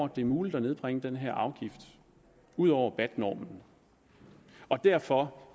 det er muligt at nedbringe den her afgift ud over bat normen derfor